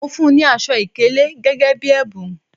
Mo fún ní aṣọ ìkélé gẹ́gẹ́ bí ẹ̀bùn